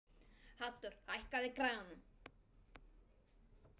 Haddur, hækkaðu í græjunum.